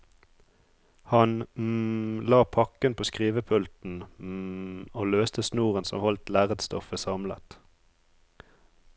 Han la pakken på skrivepulten og løste snoren som holdt lerretsstoffet samlet.